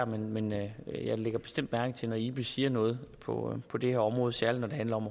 men jeg lægger bestemt mærke til det når ibis siger noget på på det her område særlig når det handler om